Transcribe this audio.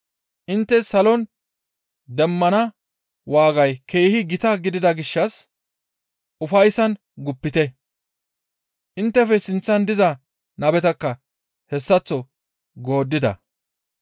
Intte salon demmana waagay keehi gita gidida gishshas ufayssan guppite. Inttefe sinththan diza nabetakka hessaththo gooddida.